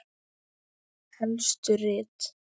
Helstu rit